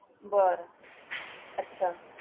बरं! अच्छा!